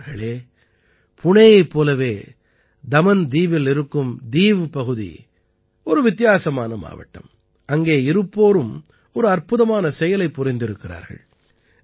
நண்பர்களே புணேயைப் போலவே தமன் தீவில் இருக்கும் தீவ் பகுதி ஒரு வித்தியாசமான மாவட்டம் அங்கே இருப்போரும் ஒரு அற்புதமான செயலைப் புரிந்திருக்கிறார்கள்